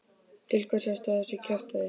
Til hvers ertu að þessu kjaftæði?